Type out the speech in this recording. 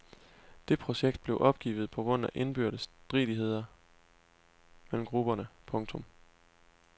Det projekt blev opgivet på grund af indbyrdes stridigheder mellem grupperne. punktum